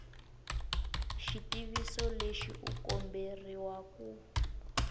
xitiviso lexi u komberiwa ku